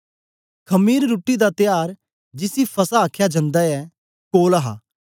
खमीर रुट्टी दा त्यार जिसी फसह आखया जन्दा ऐ कोल हा